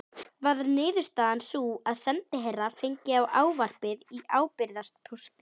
Varð niðurstaðan sú að sendiherrann fengi ávarpið í ábyrgðarpósti.